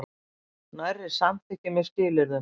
Nærri samþykki með skilyrðum